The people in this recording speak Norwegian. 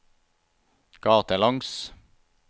gatelangs